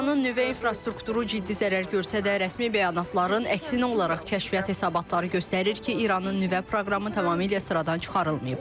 İranın nüvə infrastrukturu ciddi zərər görsə də, rəsmi bəyanatların əksinə olaraq kəşfiyyat hesabatları göstərir ki, İranın nüvə proqramı tamamilə sıradan çıxarılmayıb.